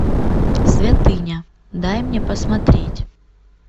святыня дай мне посмотреть